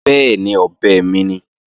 Bẹ́ẹ̀ni, ọ̀bẹ mi ni